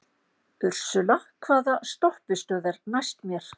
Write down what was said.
Ursula, hvaða stoppistöð er næst mér?